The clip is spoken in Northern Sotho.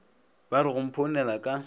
ba re go mphounela ka